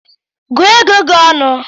Gụọ ego gi ọnụ